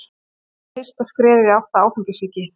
Það er fyrsta skrefið í átt að áfengissýki.